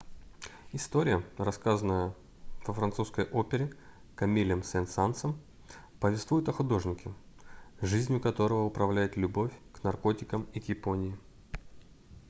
история рассказанная во французской опере камилем сен-сансом повествует о художнике жизнью которого управляет любовь к наркотикам и к японии